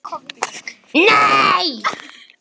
Hafðu það sem allra best.